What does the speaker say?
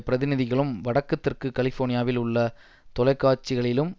பிரதிநிதிகளும் வடக்கு தெற்கு கலிஃபோர்னியாவில் உள்ள தொலைக்காட்சிகளிலும்